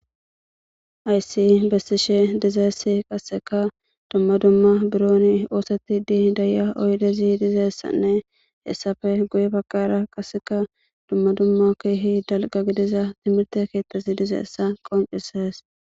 Haysi bessishe dizayssi qasseka dumma dumma bironi oosetidii da7iya oyidezi dizessanne hessafe guye bagaara qasseka dumma dumma keehi dalga gidiza timirte keettazi dizeessa qoncisees